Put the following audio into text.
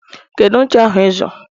Kedu ncha ahụ ịzụrụ